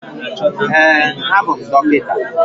Ee, abụ m dọkịta